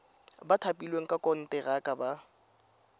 ba thapilweng ka konteraka ba